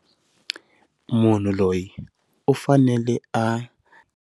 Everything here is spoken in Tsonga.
Munhu loyi u fanele a.